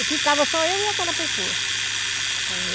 E ficava só eu e aquela pessoa.